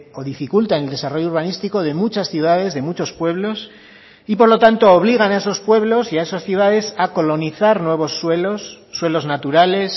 o dificulta el desarrollo urbanístico de muchas ciudades de muchos pueblos y por lo tanto obligan a esos pueblos y a esas ciudades a colonizar nuevos suelos suelos naturales